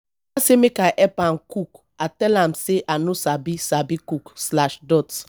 oga say make i help am cook i tell am say i no sabi sabi cook slash dot